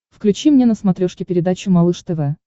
включи мне на смотрешке передачу малыш тв